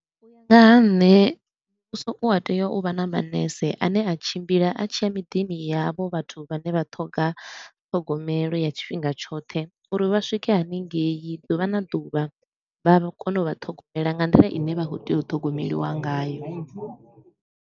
U ya nga ha nṋe muvhuso u a tea u vha na manese a ne a tshimbila a tshi ya miḓini ya havho vhathu vhane vha ṱhoga ṱhogomelo ya tshifhinga tshoṱhe uri vha swike hanengei ḓuvha na ḓuvha vha kone u vha ṱhogomela nga nḓila i ne vha khou tea u ṱhogomeliwa ngayo.